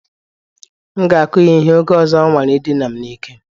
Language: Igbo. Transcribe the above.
M ga-akụ ya ihe, oge ọzọ ọ nwara idina m n'ike